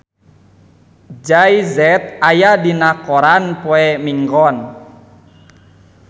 Jay Z aya dina koran poe Minggon